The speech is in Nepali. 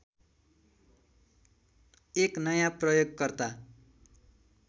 एक नयाँ प्रयोगकर्ता